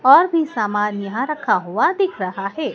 और भी सामान यहां रखा हुआ दिख रहा है।